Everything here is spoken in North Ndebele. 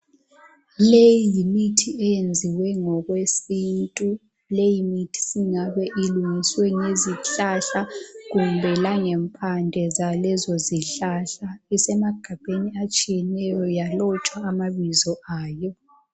Leyi yimithi eyenziwe ngokwesintu leyo mithi singabe ilungiswe ngzihlahla kumbe langempande zalezo zihlahla isemagabheni atshiyeneyo yalotshwa amabizo ayo.